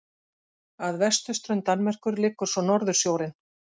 Að vesturströnd Danmerkur liggur svo Norðursjórinn.